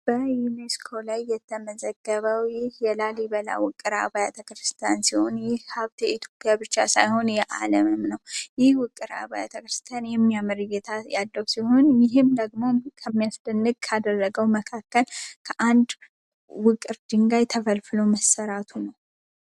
በዩኒስኮ የተመዘገበው ይህ የላሊበላ ውቅር አባያተ ክርስቲያን ሲሆን የኢትዮጵያ ብቻ ሳይሆን የዓለም ነው ቤተክርስቲያን የሚያምር እይታ ያለው ሲሆን ይህም ደግሞ ልዩ የሚያደርገው ነገር ከአንድ ውቅር ድንጋይ ተፈልፍሉ መሠራቱ ነው።